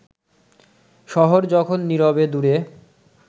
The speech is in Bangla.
শহর যখন নিরবে দূরে